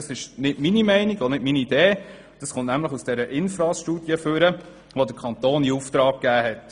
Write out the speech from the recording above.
Das ist weder nur meine Meinung noch meine Idee, vielmehr geht es aus der vom Kanton in Auftrag gegebenen INFRASStudie hervor.